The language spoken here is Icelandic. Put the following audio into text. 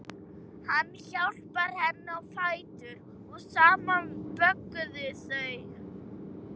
Hann hjálpaði henni á fætur og saman vögguðu þau